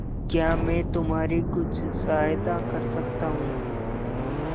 क्या मैं तुम्हारी कुछ सहायता कर सकता हूं